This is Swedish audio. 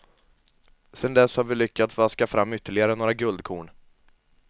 Sedan dess har vi lyckats vaska fram ytterligare några guldkorn.